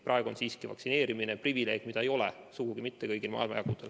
Praegu on vaktsineerimine siiski privileeg, mida ei ole sugugi kõigil maailmajagudel.